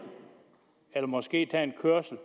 eller måske tage en kørsel